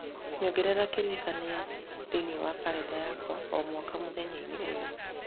nyongereraga kĩririkania thĩinĩ wa kalendarĩ yakwa o mwaka mũthenya-inĩ ũyũ